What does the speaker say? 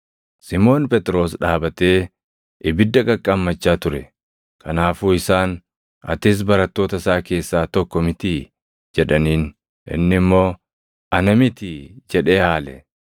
Simoon Phexros dhaabatee ibidda qaqqaammachaa ture. Kanaafuu isaan, “Atis barattoota isaa keessaa tokko mitii?” jedhaniin. Inni immoo, “Ana mitii” jedhee haale.